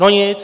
No nic.